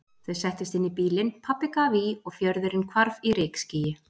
Þau settust inn í bílinn, pabbi gaf í og fjörðurinn hvarf í rykskýi.